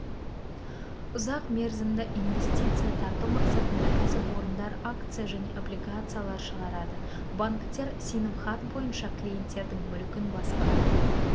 ұзақ мерзімді инвестиция тарту мақсатында кәсіпорындар акция және облигациялар шығарады банктер сенімхат бойынша клиенттердің мүлкін басқару